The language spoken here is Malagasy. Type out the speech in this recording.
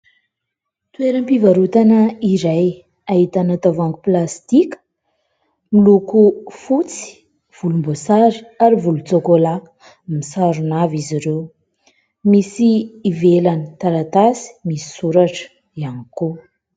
Toeram-pivarotana iray, ahitana tavoahangy plastika miloko fotsy, volomboasary, ary volon-tsokola, misarona avy izy ireo ; misy ivelany taratasy misy soratra ihany koa.